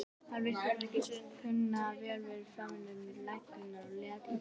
Hann virtist ekki kunna vel við faðmlög lögreglunnar og lét illa.